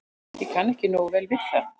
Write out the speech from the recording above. Ég kann ekki nógu vel við það.